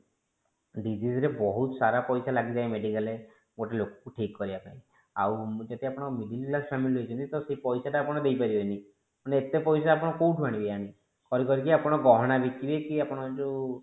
disease ରେ ବହୁତ ସାରା ପଇସା ଲାଗିଯାଏ medical ରେ ଗୋଟେ ଲୋକ କୁ ଠିକ କରିବାପାଇଁ ଆଉ ଯଦି ଆପଣ middle class family ହେଇଛନ୍ତି ସେ ପଇସା ଟା ଆପଣ ଦେଇ ପରିବେନି ମାନେ ଏତେ ପଇସା ଆପଣ କୋଉଠୁ ଆଣିବେ କରି କରି କି ଆପଣ ଗହଣା ବିକିବେ କି ଆପଣ ଯୋଉ